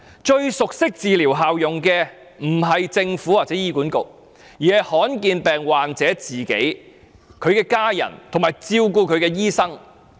最熟悉治療效用的，不是政府或醫管局，而是罕見疾病患者、其家人及照顧他的醫生。